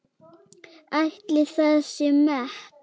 Ætli það sé met?